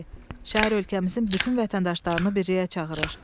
B. Şair ölkəmizin bütün vətəndaşlarını birliyə çağırır.